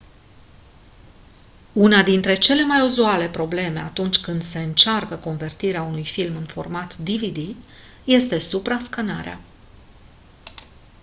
una dintre cele mai uzuale probleme atunci când se încearcă convertirea unui film în format dvd este suprascanarea